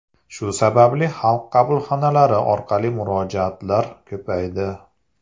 Shu sababli Xalq qabulxonalari orqali murojaatlar ko‘paydi.